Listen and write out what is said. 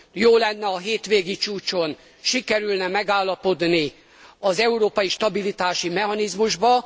Jó lenne, ha a hétvégi csúcson sikerülne megállapodni az európai stabilitási mechanizmusban.